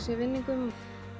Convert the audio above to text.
vinningum